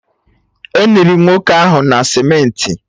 Eniri nwoke ahụ na cementị?